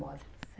moda.